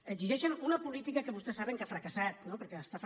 exigeixen una política que vostès saben que ha fracassat no perquè està fra